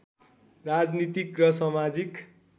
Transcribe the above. राजनीतिक र समाजिक